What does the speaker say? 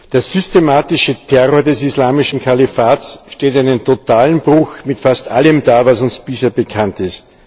Der systematische Terror des Islamischen Kalifats stellt einen totalen Bruch mit fast allem dar, was uns bisher bekannt ist.